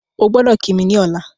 Ogbọ́dọ̀ kí mi ní ọ̀la